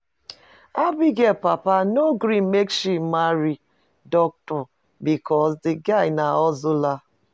Abigail papa no gree make she marry Doctor because the guy na hustler